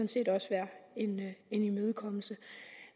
set også være en imødekommelse